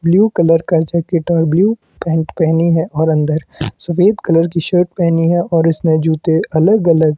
blue colour का jacket और blue pant पहनी है और अंदर सफेद कलर की शर्ट पहनी है और इसने जूते अलग अलग --